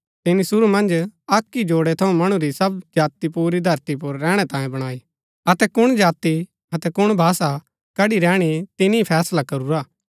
तिनी शुरू मन्ज अक्क ही जोडै थऊँ मणु री सब जाति पुरी धरती पुर रैहणै तांयें बणाई अतै कुण जाति अतै कुण भाषा कड़ी रैहणी तिनी ही फैसला करूरा